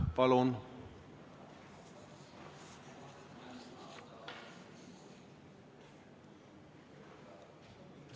Palun!